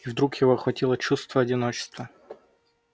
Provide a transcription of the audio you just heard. и вдруг его охватило чувство одиночества